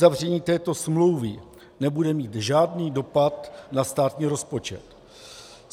Uzavření této smlouvy nebude mít žádný dopad na státní rozpočet.